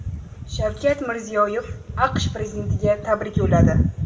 Shavkat Mirziyoyev AQSh prezidentiga tabrik yo‘lladi.